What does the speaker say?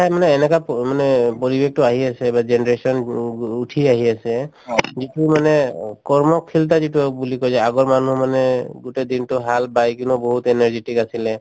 মানে এনেকা প মানে পৰিৱেশটো আহি আছে বা generation উম উম উঠি আহি আছে যিটো মানে অ কৰ্মশীলতা যিটো হওক বুলি কই যে আগৰ মানুহ মানে গোটেই দিনতো হাল বায় কিনেও বহুত energetic আছিলে